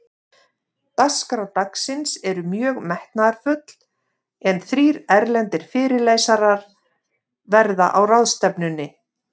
Dagskrá dagsins er mjög metnaðarfull, en þrír erlendir fyrirlesarar verða á ráðstefnunni.